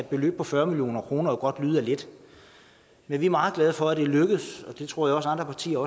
beløb på fyrre million kroner lyde af lidt er vi meget glade for er lykkedes det tror jeg også andre partier